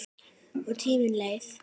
Og tíminn leið.